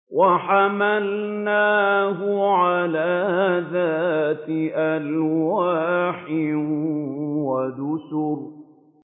وَحَمَلْنَاهُ عَلَىٰ ذَاتِ أَلْوَاحٍ وَدُسُرٍ